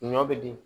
Ɲɔ be di